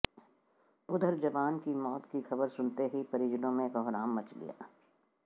उधर जवान की मौत की खबर सुनते ही परिजनों में कोहराम मच गया